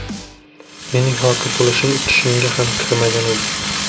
Mening hokim bo‘lishim tushimga ham kirmagan edi.